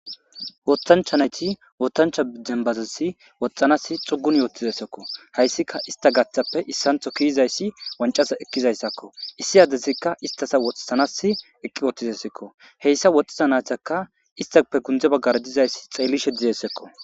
Woththanchcha nayti woththanchcha dembazassi woxxanaasi xuguni uttidayssako hayssika ista gaaththape issanththo kezizayssazi wanccaza ekkizayssako issi adezika istta woxisanas eqqi uttidesiko heyssa woxxiza naytika istape sinththe baggara xeellishe dizayssako.